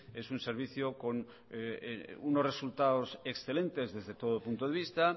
es un servicio con unos resultados excelentes desde todo punto de vista